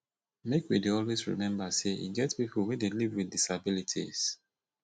make we dey always rememba sey e get pipo wey dey live wit disabilities